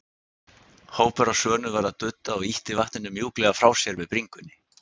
Hópur af svönum var að dudda og ýtti vatninu mjúklega frá sér með bringunni.